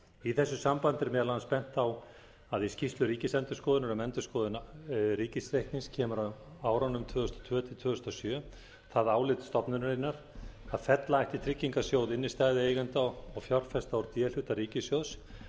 í þessu sambandi er meðal annars bent á að í skýrslu ríkisendurskoðunar um endurskoðun ríkisreiknings kemur á árunum tvö þúsund og tvö til tvö þúsund og sjö það álit stofnunarinnar að fella ætti tryggingasjóð innstæðueigenda og fjárfesta úr d hluta ríkissjóðs